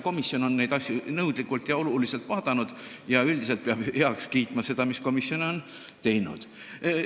Komisjon on neid asju nõudlikult ja olulisel määral vaadanud ning üldiselt peame heaks kiitma selle, mis komisjon on teinud.